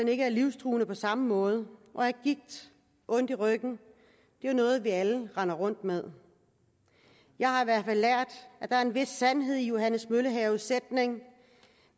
ikke er livstruende på samme måde og at gigt og ondt i ryggen jo er noget vi alle render rundt med jeg har i hvert fald lært at der er en vis sandhed i johannes møllehaves sætning